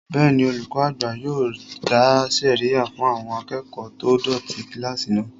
Bẹ́ẹ̀ni, olùkọ́ àgbà yóò dá sẹ̀ríyà fún àwọn akẹ́kọ̀ọ́ tó dọ̀tí kílásì náà